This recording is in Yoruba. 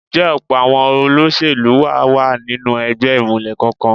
Ǹjẹ́ ọ̀pọ̀ àwọn olóṣèlú wa wà nínú ẹgbẹ́ ìmùlẹ̀ kankan?